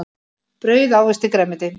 Brauð ávexti grænmeti.